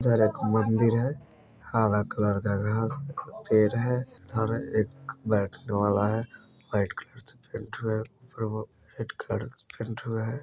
इधर एक मन्दिर है हरा कलर का घास पेड़ है इधर एक बैठने वाला है वाइट कलर से पेंट हुआ है रेड कलर से पेंट हुआ है।